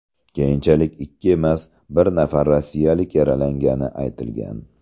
Keyinchalik ikki emas, bir nafar rossiyalik yaralangani aytilgan.